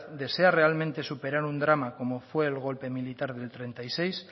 desea realmente superar un drama como fue el golpe militar del treinta y seis